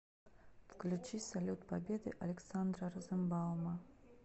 включи салют победы александра розенбаума